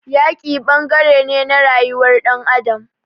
Yaki ɓangaren ne na rayuwar ɗan adam.